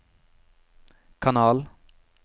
kanal